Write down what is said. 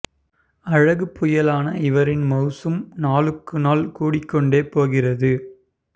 அழகுப் புயலான இவரின் மவுசும் நாளுக்கு நாள் கூடிக்கொண்டே போகிறது